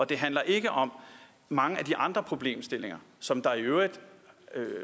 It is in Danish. det handler ikke om mange af de andre problemstillinger som